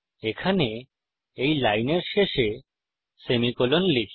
এখানে এই লাইনের শেষে সেমিকোলন লিখি